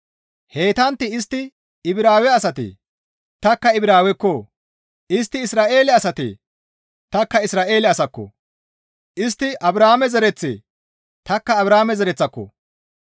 Heytantti istti Ibraawe asatee? Tanikka Ibraawekko! Istti Isra7eele asatee? Tanikka Isra7eele asakko! Istti Abrahaame zereththatee? Tanikka Abrahaame zereththiko!